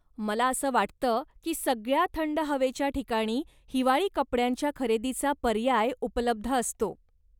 मला असं वाटतं की सगळ्या थंड हवेच्या ठिकाणी हिवाळी कपड्यांच्या खरेदीचा पर्याय उपलब्ध असतो.